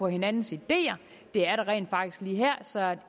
hinandens ideer det er der rent faktisk lige her så